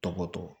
Tɔgɔ tɔgɔ